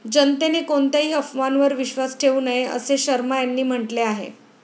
जनतेने कोणत्याही अफवांवर विश्वास ठेऊ नये, असेही शर्मा यांनी म्हटले आहे.